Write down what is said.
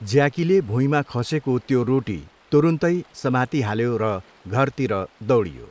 ज्याकीले भुइँमा खसेको त्यो रोटी तुरुन्तै समातिहाल्यो र घरतिर दाैडियो।